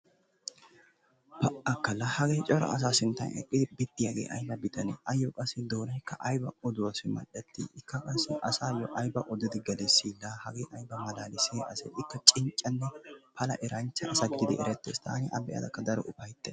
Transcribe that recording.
Pa"akka laa hagee cora asaa sinttan eqqidi biddiyagee ayba bitanee? Assikka qassi doonaykka ayba oduwassi mal"ettii? Ikka qassi asaassi ayba odidi gelissii? Ikka hagee ayba malaalissiya asee? Ikka qassi cinccanne eranchcha asa gididi erettees. Taanikka A be'ada daro ufayttaas.